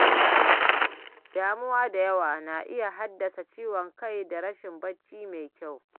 Damuwa da yawa na iya haddasa ciwon kai da rashin bacci mai kyau.